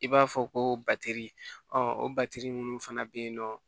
I b'a fɔ ko batiri o batiri minnu fana bɛ yen nɔ